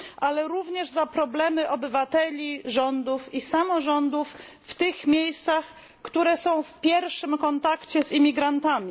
Ale jesteśmy odpowiedzialni również za problemy obywateli, rządów i samorządów w tych miejscach, które są w pierwszym kontakcie z imigrantami.